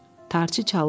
Tarçı çalırdı.